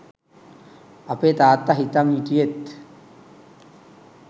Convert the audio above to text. අපේ තාත්තා හිතන් හිටියෙත්